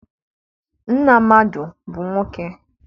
Nna mmadụ bụ nwoke.